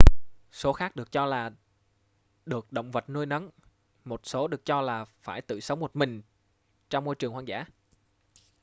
số khác được cho là được động vật nuôi nấng một số được cho là phải tự sống một mình trong môi trường hoang dã